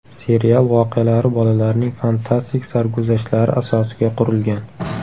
Serial voqealari bolalarning fantastik sarguzashtlari asosiga qurilgan.